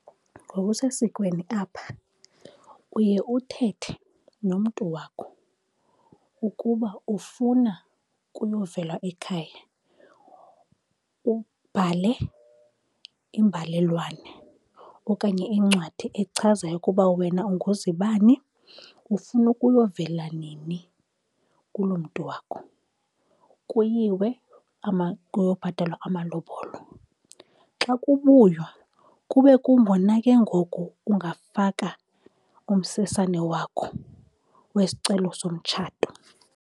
Ngokusesikweni apha uye uthethe nomntu wakho ukuba ufuna kuyovelwa ekhaya. Ubhale imbalelwane okanye incwadi echazayo ukuba wena unguzibani, ufuna ukuyovela nini kuloo mntu wakho. Kuyiwe kuyobhatalwa amalobolo. Xa kubuywa kube kungona ke ngoku ungafaka umsesane wakho wesicelo somtshato.